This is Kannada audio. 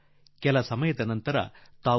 ಅದೂ ಕೇವಲ ಒಂದು SಒS ಸಂದೇಶದ ಮೇಲೆ